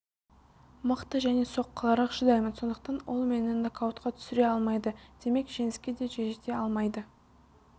мықты және соққыларға шыдаймын сондықтан ол мені нокаутқа түсіре алмайды демек жеңіске де жете алмайды